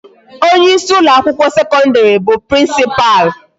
Onye isi ụlọ akwụkwọ sekọndịrị bụ principal.